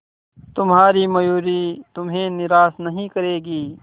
तुम्हारी मयूरी तुम्हें निराश नहीं करेगी